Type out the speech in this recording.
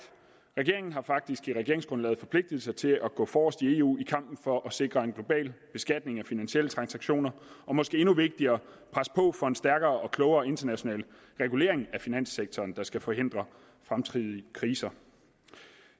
regeringen har faktisk i regeringsgrundlaget forpligtet sig til at gå forrest i eu i kampen for at sikre en global beskatning af finansielle transaktioner og måske endnu vigtigere presse på for en stærkere og klogere international regulering af finanssektoren der skal forhindre fremtidige kriser